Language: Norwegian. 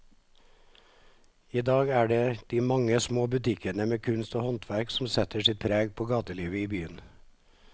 I dag er det de mange små butikkene med kunst og håndverk som setter sitt preg på gatelivet i byen.